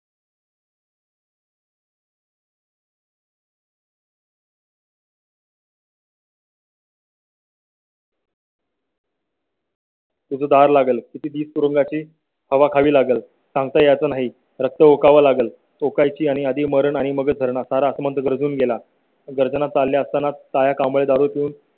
उद्गार लागेल. किती तुरुंगा ची हवा खावी लागेल सांगता येत नाही. रक्त ओकाव लागेल ओकायची आणि आधी मरण आणि मग धरणा सारा आसमंत गर्जून गेला. गर्जना चालले असताना तया कांबळे दारू पिऊन